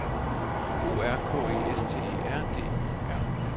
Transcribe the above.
O R K E S T E R D Y R